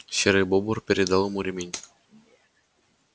серый бобр передал ему ремень